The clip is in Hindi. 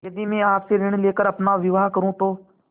यदि मैं आपसे ऋण ले कर अपना विवाह करुँ तो